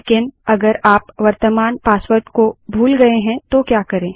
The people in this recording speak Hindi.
लेकिन वर्त्तमान पासवर्ड को अगर आप भूल गए हैं तो क्या करें